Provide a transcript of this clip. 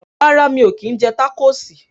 Rárá, mí o kín jẹ tacosi